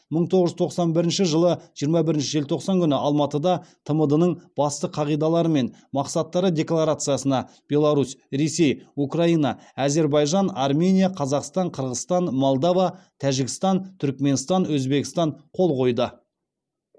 мың тоғыз жүз тоқсан бірінші жылы жиырма бірінші желтоқсан күні алматыда тмд ның басты қағидалары мен мақсаттары декларациясына беларусь ресей украина әзербайжан армения қазақстан қырғызстан малдава тәжікстан түрікменстан өзбекстан қол қойды